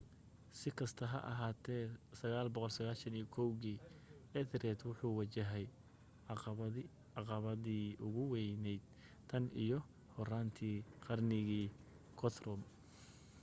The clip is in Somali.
si kasta ha ahaatee 991 kii ethelred wuxuu wajahay caqabadii ugu weyned tan iyo horaanta qarnigii guthrum